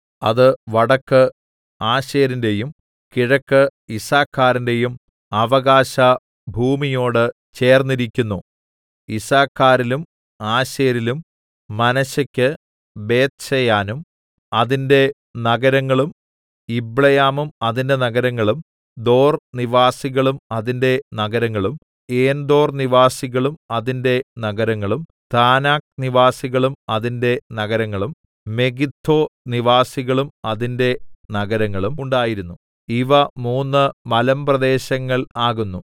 അത് വടക്ക് ആശേരിന്റെയും കിഴക്ക് യിസ്സാഖാരിന്റെയും അവകാശഭൂമിയോട് ചേർന്നിരിക്കുന്നു യിസ്സാഖാരിലും ആശേരിലും മനശ്ശെക്കു ബേത്ത്ശെയാനും അതിന്റെ നഗരങ്ങളും യിബ്ളെയാമും അതിന്റെ നഗരങ്ങളും ദോർനിവാസികളും അതിന്റെ നഗരങ്ങളും ഏൻദോർനിവാസികളും അതിന്റെ നഗരങ്ങളും താനാക്ക് നിവാസികളും അതിന്റെ നഗരങ്ങളും മെഗിദ്ദോനിവാസികളും അതിന്റെ നഗരങ്ങളും ഉണ്ടായിരുന്നു ഇവ മൂന്ന് മലമ്പ്രദേശങ്ങൾ ആകുന്നു